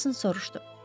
Mason soruşdu.